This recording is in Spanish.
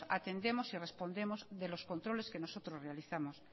atendemos y respondemos de los controles que nosotros realizamos